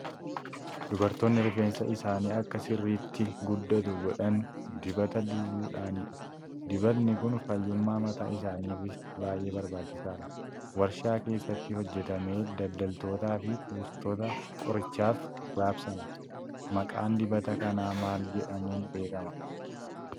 Dubartoonni rifeensa isaanii akka sirriitti guddatu godhan dibata dibuudhaanidha. Dibatni kun fayyummaa mataa isaaniifis baay'ee barbaachisaadha. Waarshaa keessatti hojjetamee daldaltootaa fi kuustota qorichaaf raabsama. Maqaan dibata kanaa maal jedhamuun beekama?